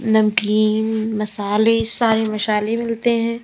नमकीन मसाले सारे मसाले मिलते हैं।